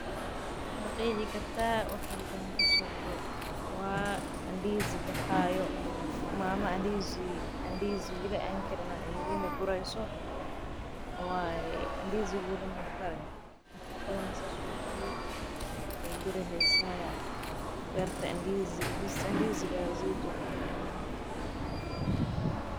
Ma qeexi kartaa waxa halkan kasocdo waa ndizi baxaayo asaga oo karin.